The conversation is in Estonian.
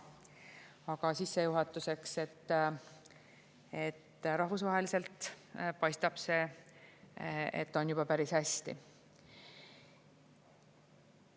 Aga sissejuhatuseks, et rahvusvaheliselt paistab, et on juba päris hästi.